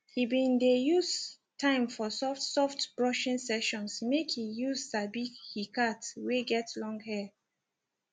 he been de use time for soft soft brushing sessions make he use sabi he cat wey get long hair